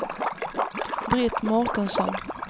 Britt Mårtensson